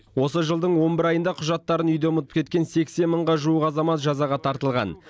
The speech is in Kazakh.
осы жылдың он бір айында құжаттарын үйде ұмытып кеткен сексен мыңға жуық азамат жазаға тартылған